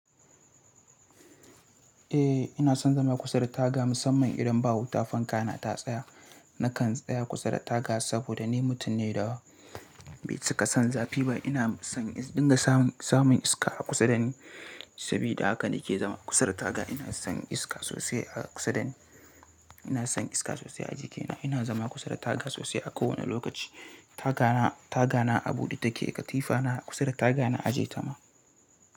Eh ina son zama kusa da taga musamman idan ba wuta fanka na ta tsaya. Nakan tsaya kusa da taga saboda ni mutum ne da bai ci ka son zafi ba. Ina son in dinga samun iska a kusa da ni sabida haka na ke zama kusa da taga. Ina son iska sosai a kusa da ni. Ina son iska sosai a jikina. Ina zama kusa da taga sosai a kowane lokaci. Taga na a buɗe take, katifa na kusa da taga na a jiye ta ma.